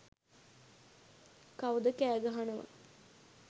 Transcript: කවුද කෑගහනව